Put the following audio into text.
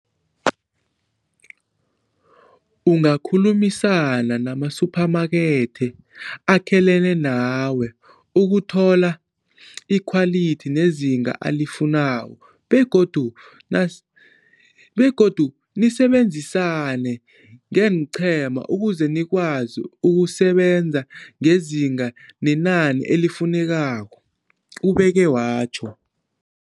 Ungakhulumisana namasuphamakethe akhelene nawe ukuthola ikhwalithi nezinga alifunako begodu nisebenzisane ngeenqhema ukuze nikwazi ukusebenza ngezinga nenani elifunekako, ubeke watjho.